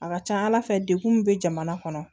A ka ca ala fɛ degun min bɛ jamana kɔnɔ